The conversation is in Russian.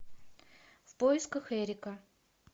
в поисках эрика